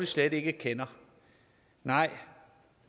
slet ikke kender nej